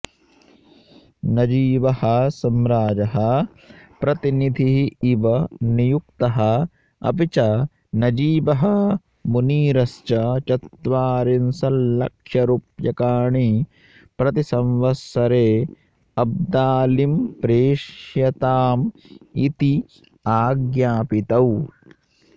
नजीबः सम्राजः प्रतिनिधिः इव नियुक्तः अपिच नजीबः मुनीरश्च चत्वारिंशत्लक्ष्यरुप्यकाणि प्रतिसंवत्सरे अब्दालिम् प्रेषयताम् इति आज्ञापितौ